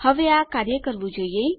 હવે આ કાર્ય કરવું જોઈએ